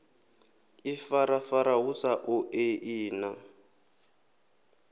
ifarafara hu sa ṱoḓei na